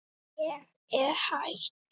Ég er hætt.